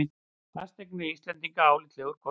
Fasteignir á Íslandi álitlegur kostur